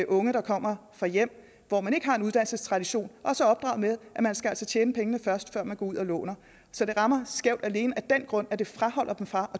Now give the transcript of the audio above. unge der kommer fra hjem hvor man ikke har en uddannelsestradition også er opdraget med at man altså skal tjene pengene først før man går ud og låner så det rammer skævt alene af den grund at det fraholder dem fra at